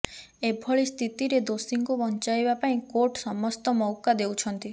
ଏଭଳିସ୍ଥିତିରେ ଦୋଷୀଙ୍କୁ ବଞ୍ଚାଇବା ପାଇଁ କୋର୍ଟ ସମସ୍ତ ମଉକା ଦେଉଛନ୍ତି